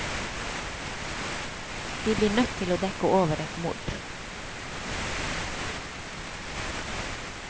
De blir nødt til å dekke over et mord.